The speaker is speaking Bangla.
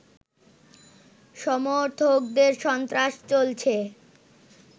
সমর্থকদের সন্ত্রাস চলছে